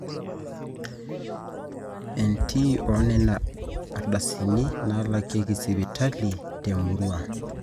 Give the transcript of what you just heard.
entii oonena ardasini naalakieki sipitali te murrua